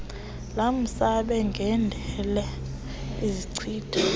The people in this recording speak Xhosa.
lamasebe ngendela ezichitha